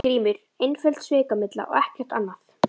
GRÍMUR: Einföld svikamylla og ekkert annað.